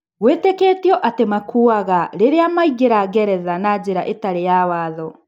Gwetĩkĩtio atĩ maakuire rĩrĩa maingeraga Ngeretha na njĩra ĩtarĩ ya watho.